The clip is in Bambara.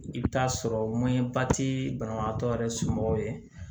I bɛ taa sɔrɔ mɔnɛba ti banabagatɔ yɛrɛ somɔgɔw ye